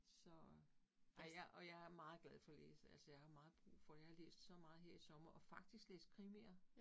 Så, ej jeg og jeg er meget glad for at læse, altså jeg har meget brug for, jeg har læst så meget her i sommer, og faktisk læst krimier